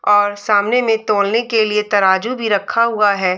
और सामने में तोलने के लिए तराजू भी रखा हुआ है।